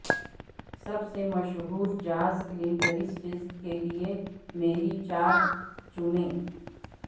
سب سے مشہور jazz clarinettists کے لئے میری چار چنیں